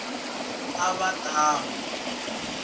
a va ta n wi